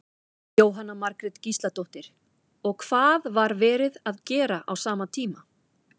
Jóhanna Margrét Gísladóttir: Og hvað var verið að gera á sama tíma?